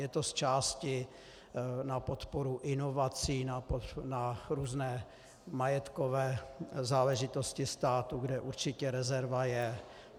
Je to z části na podporu inovací na různé majetkové záležitosti státu, kde určitě rezerva je.